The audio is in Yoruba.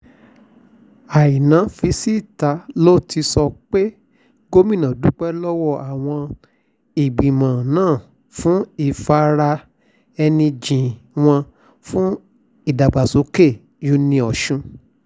àìná fi síta ló ti sọ pé gómìnà dúpẹ́ lọ́wọ́ àwọn ìgbìmọ̀ náà fún ìfara-ẹni-jìn wọn fún ìdàgbàsókè uniosun